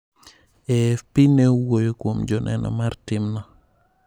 AFP ne owuoyo kuom joneno mar timno.